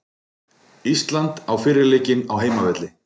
Ísland á fyrri leikinn á heimavelli